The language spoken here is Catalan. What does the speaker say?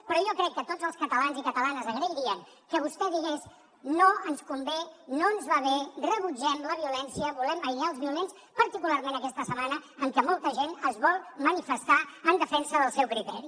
però jo crec que tots els catalans i catalanes agrairien que vostè digues no ens convé no ens va bé rebutgem la violència volem aïllar els violents particularment aquesta setmana en què molta gent es vol manifestar en defensa del seu criteri